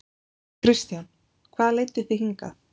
Kristján: Hvað leiddi þig hingað?